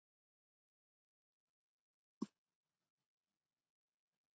Svo þú hafir einhvern til að vera hjá og tala við